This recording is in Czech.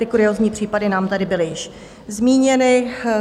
Ty kuriózní případy nám tady byly již zmíněny.